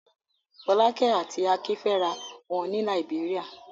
Fọ́lákẹ́ àti Akin fẹ́ra wọn ní Làíbéríà.